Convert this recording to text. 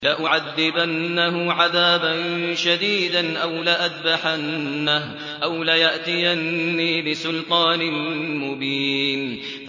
لَأُعَذِّبَنَّهُ عَذَابًا شَدِيدًا أَوْ لَأَذْبَحَنَّهُ أَوْ لَيَأْتِيَنِّي بِسُلْطَانٍ مُّبِينٍ